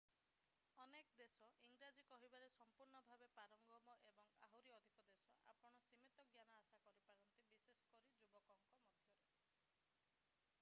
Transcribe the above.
ଅନେକ ଦେଶ ଇଂରାଜୀ କହିବାରେ ସମ୍ପୂର୍ଣ୍ଣ ଭାବେ ପାରଙ୍ଗମ ଏବଂ ଆହୁରି ଅଧିକ ଦେଶରେ ଆପଣ ସୀମିତ ଜ୍ଞାନ ଆଶା କରିପାରନ୍ତି ବିଶେଷ କରି ଯୁବକମାନଙ୍କ ମଧ୍ୟରେ